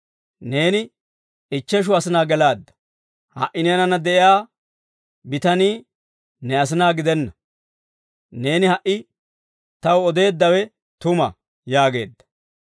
Neeni ichcheshu asinaa gelaadda; ha"i neenanna de'iyaa bitanii ne asinaa gidenna. Neeni ha"i taw odeeddawe tuma» yaageedda.